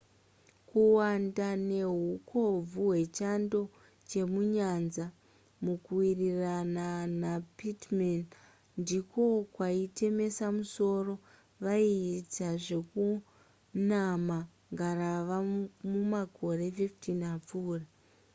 kuwanda nehukobvu hwechando chemunyanza mukuwirirana napittman ndiko kwaitemesa musoro vaiita zvekunama ngarava mumakore 15 apfuura